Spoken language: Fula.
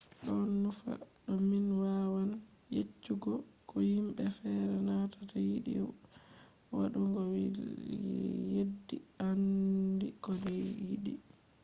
ɗon nufa do min wawan yeccugo ko yimɓe feere nanata yiɗi waɗugo yeddi aandi ko yiɗi